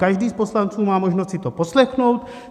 Každý z poslanců má možnost si to poslechnout.